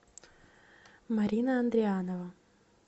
марина андрианова